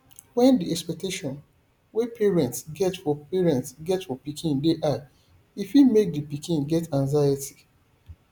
when di expectations wey parnets get for parnets get for pikin dey high e fit make di pikin get anxiety